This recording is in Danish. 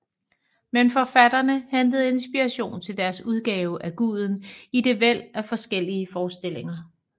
Men forfatterne hentede inspiration til deres udgave af guden i det væld af forskellige forestillinger